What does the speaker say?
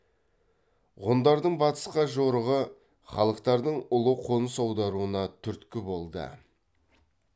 ғұндардың батысқа жорығы халықтардың ұлы қоныс аударуына түрткі болды